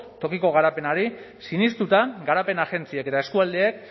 tokiko garapenari sinestuta garapen agentziek eta eskualdeek